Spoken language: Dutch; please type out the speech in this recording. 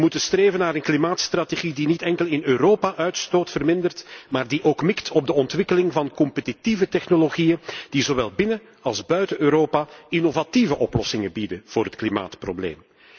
We moeten streven naar een klimaatstrategie die niet enkel in Europa uitstoot vermindert maar die ook mikt op de ontwikkeling van competitieve technologieën die zowel binnen als buiten Europa innovatieve oplossingen bieden voor het klimaatprobleem.